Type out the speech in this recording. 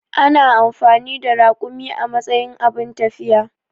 Ana amfani da rakumi a matsayin abun tafiya.